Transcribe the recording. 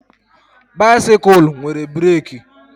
Baisikụl nwere breeki